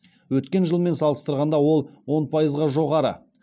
өткен жылмен салыстырғанда ол он пайызға жоғары